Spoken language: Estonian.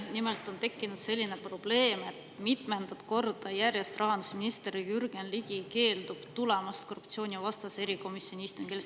Nimelt on tekkinud selline probleem, et mitmendat korda järjest rahandusminister Jürgen Ligi keeldub tulemast korruptsioonivastase erikomisjoni istungile.